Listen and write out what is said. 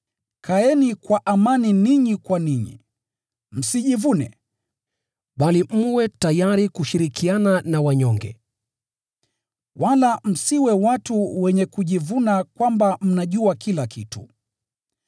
Kaeni kwa amani ninyi kwa ninyi. Msijivune, bali mwe tayari kushirikiana na wanyonge. Wala msiwe watu wenye kujivuna kwamba mnajua kila kitu.